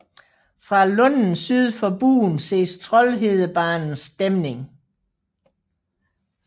Fra lunden syd for Buen ses Troldhedebanens dæmning